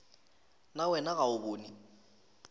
na wena ga o bone